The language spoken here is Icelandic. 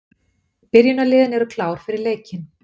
Byrjunarliðin eru klár fyrir leikinn.